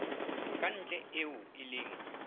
ka ntle eo e leng